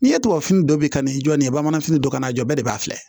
N'i ye tubabu fini dɔ bi ka na i jɔ nin ye bamananfo ka na jɔ bɛɛ de b'a filɛ